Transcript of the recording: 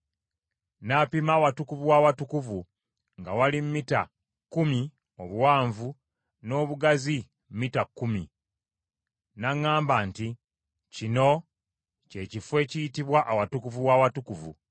N’apima Awatukuvu w’Awatukuvu nga wali mita kkumi obuwanvu, n’obugazi mita kkumi. N’aŋŋamba nti, “Kino kye kifo ekiyitibwa Awatukuvu w’Awatukuvu.”